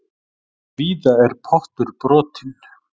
Víða er pottur brotinn.